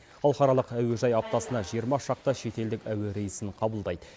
халықаралық әуежай аптасына жиырма шақты шетелдік әуе рейсін қабылдайды